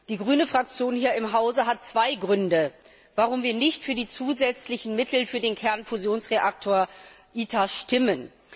Wir, die Fraktion der Grünen hier im Haus, haben zwei Gründe, warum wir nicht für die zusätzlichen Mittel für den Kernfusionsreaktor ITER stimmen.